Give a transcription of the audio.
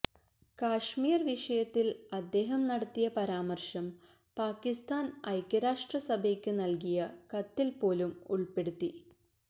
കാശ്മീർ വിഷയത്തിൽ അദ്ദേഹം നടത്തിയ പരാമർശം പാകിസ്ഥാൻ ഐക്യരാഷ്ട്ര സഭയ്ക്ക് നൽകിയ കത്തിൽ പോലും ഉൾപ്പെടുത്തി